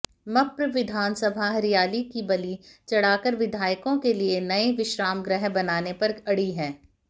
मप्र विधानसभा हरियाली की बलि चढ़ाकर विधायकों के लिए नए विश्रामगृह बनाने पर अड़ी है